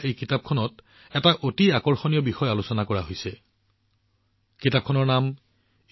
এই কিতাপখনত এটা অতি আকৰ্ষণীয় বিষয় আলোচনা কৰা হৈছে যিখন মই কেইসপ্তাহমান আগতে লাভ কৰিছিলো